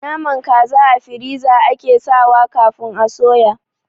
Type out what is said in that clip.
Naman kaza a firiza ake sawa kafin a suya